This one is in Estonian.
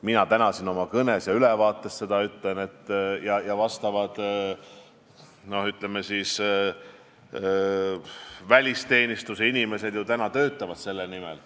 Mina ütlesin seda täna siin oma kõnes ja meie välisteenistuse inimesed ju töötavad selle nimel.